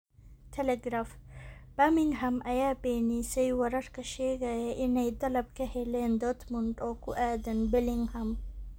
(Telegraph) Birmingham ayaa beenisay wararka sheegaya inay dalab ka heleen Dortmund oo ku aadan Bellingham.